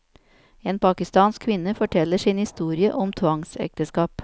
En pakistansk kvinne forteller sin historie om tvangsekteskap.